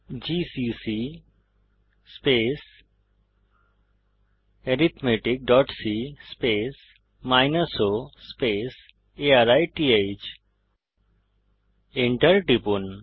GCC arithmeticসি o আরিথ Enter টিপুন